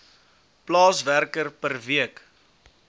plaaswerker per week